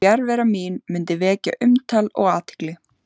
Fjarvera mín mundi vekja umtal og athygli.